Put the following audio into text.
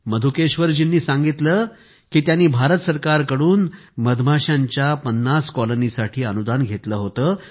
मधुकेश्वरजींनी सांगितलं की त्यांनी भारत सरकार कडून मधमाश्यांच्या 50 कॉलानीसाठी अनुदान घेतलं होतं